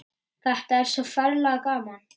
Þetta er svo ferlega gaman.